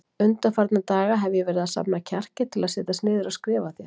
Undanfarna daga hef ég verið að safna kjarki til að setjast niður og skrifa þér.